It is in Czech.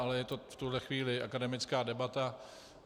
Ale je to v tuhle chvíli akademická debata.